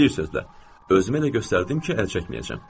Özümü elə göstərdim ki, əl çəkməyəcəm.